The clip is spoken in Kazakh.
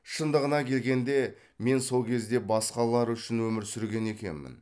шындығына келгенде мен сол кезде басқалар үшін өмір сүрген екенмін